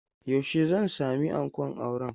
Yaushe zan sami ankon auren?